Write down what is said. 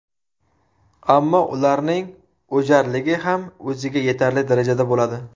Ammo ularning o‘jarligi ham o‘ziga yetarli darajada bo‘ladi.